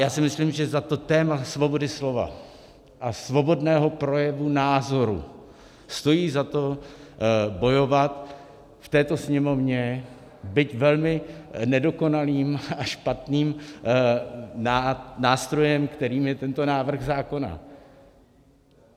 Já si myslím, že za to téma svobody slova a svobodného projevu názoru stojí za to bojovat v této Sněmovně, byť velmi nedokonalým a špatným nástrojem, kterým je tento návrh zákona.